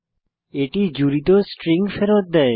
এটি জুড়িত স্ট্রিং ফেরত দেয়